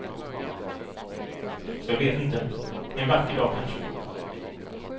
Så jag vet inte, en vacker dag kanske.